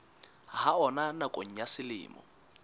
ha ona nakong ya selemo